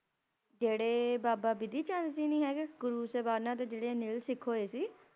ਜੇਹੜੇ ਬਾਬਾ ਬਿਧੀ ਚੰਦ ਜੀ ਨਹੀ ਹੈਗੇ ਗੁਰੂ ਸਾਹਿਬਾਨਾ ਦੇ ਜੇਹੜੇ ਨਿਲ ਸਿੱਖ ਹੋਏ ਸੀ